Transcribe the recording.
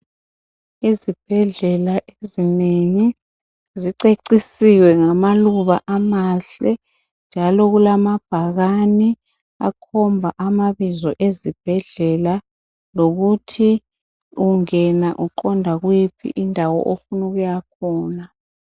Izibhedlela ezinengi zicecisiwe ngamaluba amahle njalo kulamabhakane akhomba amabizo ezibhedlela lokuthi ungena uqonda kuyiphi indawo ofunu ukuya khona.